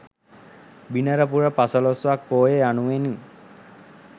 බිනර පුර පසළොස්වක් පෝය යනුවෙනුයි.